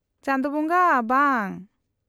-ᱪᱟᱸᱫᱳ ᱵᱚᱸᱜᱟ, ᱵᱟᱝ !